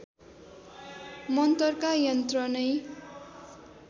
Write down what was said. मन्तरका यन्त्र नै